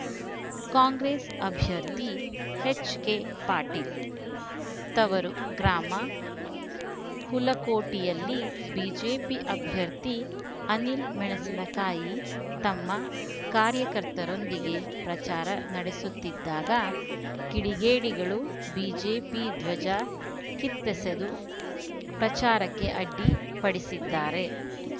ಕಾಂಗ್ರೆಸ್‌ ಅಭ್ಯರ್ಥಿ ಎಚ್‌ಕೆಪಾಟೀಲ್‌ ತವರು ಗ್ರಾಮ ಹುಲಕೋಟಿಯಲ್ಲಿ ಬಿಜೆಪಿ ಅಭ್ಯರ್ಥಿ ಅನಿಲ ಮೆಣಸಿನಕಾಯಿ ತಮ್ಮ ಕಾರ್ಯಕರ್ತರೊಂದಿಗೆ ಪ್ರಚಾರ ನಡೆಸುತ್ತಿದ್ದಾಗ ಕಿಡಿಗೇಡಿಗಳು ಬಿಜೆಪಿ ಧ್ವಜ ಕಿತ್ತೆಸೆದು ಪ್ರಚಾರಕ್ಕೆ ಅಡ್ಡಿ ಪಡಿಸಿದ್ದಾರೆ